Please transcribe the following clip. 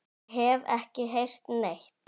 Ég hef ekki heyrt neitt.